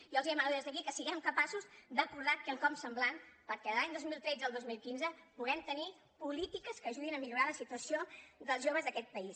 jo els demano des d’aquí que si guem capaços d’acordar quelcom semblant perquè de l’any dos mil tretze al dos mil quinze puguem tenir polítiques que ajudin a millorar la situació dels joves d’aquest país